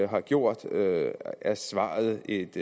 har gjort er svaret et